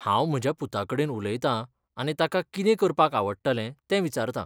हांव म्हज्या पुताकडेन उलयतां आनी ताका कितें करपाक आवडटलें तें विचारतां .